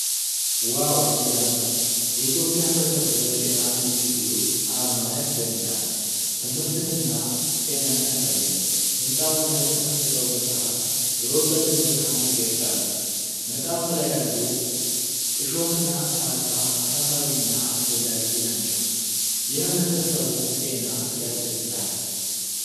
ዋው ሲያምር! የኢትዮጵያ ህብረተሰብ ጤና ኢንስቲትዩት አርማ ያስደንቃል። ትምህርትንና ጤናን ያሳያል። ሕንፃውና የተከፈተው መጽሐፍ የእውቀት ብርሃን ይገልጻሉ። መጽሐፉ ላይ ያሉ እሾህና ካርታ አሳሳቢና አስፈላጊ ናቸው። የህብረተሰቡ ጤና ያስደስታል።